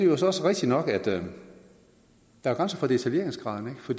det også rigtigt nok at der er grænser for detaljeringsgraden for